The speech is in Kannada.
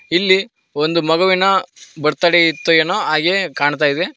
ಇಲ್ಲಿ ಒಂದು ಮಗುವಿನ ಬರ್ತಡೇ ಇತ್ತು ಎನ್ನೋ ಹಾಗೆ ಕಾಣ್ತಾ ಇದೆ.